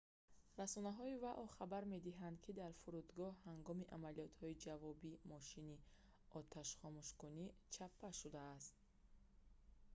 расонаҳои вао хабар медиҳанд ки дар фурудгоҳ ҳангоми амалиётҳои ҷавобӣ мошини оташхомӯшкунӣ чаппа шудааст